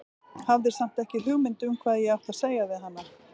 Hafði samt ekki hugmynd um hvað ég átti að segja við hana.